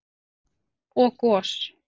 og gos.